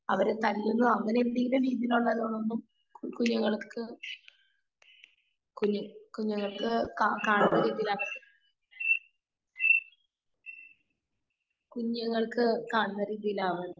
അവരെ തല്ലുക അങ്ങനെ എന്തെങ്കിലും രീതിയിൽ ഉള്ളതൊന്നും കുഞ്ഞുങ്ങൾക്ക് കുഞ്ഞു കുഞ്ഞു ങ്ങൾക്ക് കാണുന്ന രീതിയിൽ ആവിവരുത്. കുഞ്ഞുങ്ങൾക്ക് കാണുന്ന രീതിയിൽ ആവരുത്.